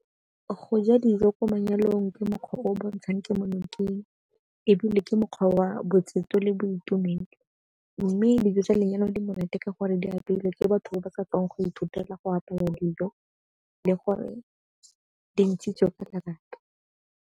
Go ja dijo ko manyalong ke mokgwa o o bontshang kemonokeng ebile ke mokgwa wa le boitumelo. Mme dijo tsa lenyalo di monate ka gore di apeilwe ke batho ba ba sa tswang go ithutela go apaya dijo le gore di ntshitswe ka lebaka.